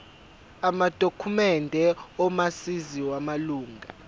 amadokhumende omazisi wamalunga